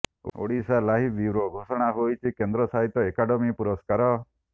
Odisha live bureau ଘୋଷଣା ହୋଇଛି କେନ୍ଦ୍ର ସାହିତ୍ୟ ଏକାଡେମୀ ପୁରସ୍କାର